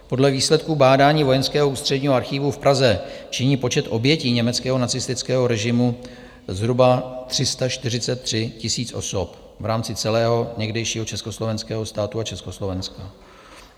Podle výsledků bádání Vojenského ústředního archivu v Praze činí počet obětí německého nacistického režimu zhruba 343 000 osob v rámci celého někdejšího československého státu a Československa.